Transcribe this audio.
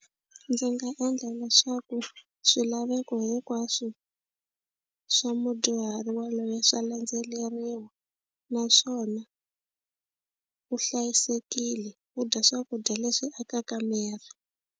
Ndzi nga endla leswaku swilaveko hikwaswo swa mudyuhari waloye swa landzeleriwa naswona u hlayisekile u dya swakudya leswi akaka miri.